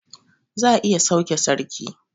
Za a iya sauke sarki